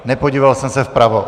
Nepodíval jsem se vpravo.